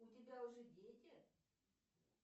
у тебя уже дети